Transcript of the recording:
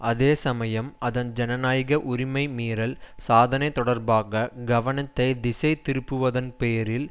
அதே சமயம் அதன் ஜனநாயக உரிமை மீறல் சாதனை தொடர்பாக கவனத்தை திசை திருப்புவதன் பேரில்